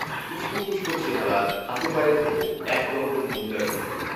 উস্কোখুস্কো চেহারা, হাতেপায়ে ধুলো, এক দঙ্গল মহিলার ভিড়